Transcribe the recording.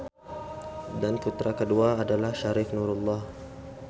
Dan putra kedua adalah Syarif Nurullah.